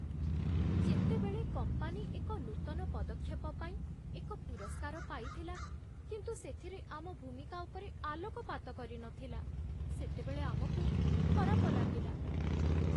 ଯେତେବେଳେ କମ୍ପାନୀ ଏକ ନୂତନ ପଦକ୍ଷେପ ପାଇଁ ଏକ ପୁରସ୍କାର ପାଇଥିଲା କିନ୍ତୁ ସେଥିରେ ଆମ ଭୂମିକା ଉପରେ ଆଲୋକପାତ କରିନଥିଲା, ସେତେବେଳେ ଆମକୁ ଖରାପ ଲାଗିଲା।